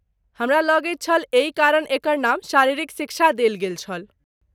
हमरा लगैत छल एहि कारण एकर नाम शारीरिक शिक्षा देल गेल छल।